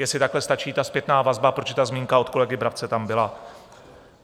Jestli takhle stačí ta zpětná vazba, protože ta zmínka od kolegy Brabce tam byla?